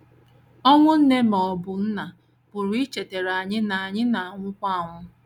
Ọnwụ nne ma ọ bụ nna pụrụ ichetara anyị na anyị na - anwụkwa anwụ.